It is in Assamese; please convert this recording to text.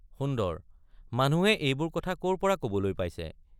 সুন্দৰ—মানুহে এইবোৰ কথা কৰ পৰা কবলৈ পাইছে?